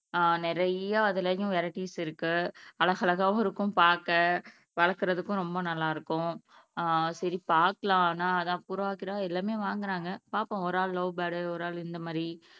நிறைய அதுலயும் வெரைடிஸ் இருக்கு அழகழகாவும் இருக்கும் பாக்க வழக்குரதுக்கும் ரொம்ப நல்லா இருக்கும் அஹ் சரி பாக்கலாம் ஆனா புறா கிறா எல்லாமே வாங்குறாங்க பாப்போம் ஒரு ஆல் லவ் பேர்ட், ஒரு ஆள் இந்த மாறி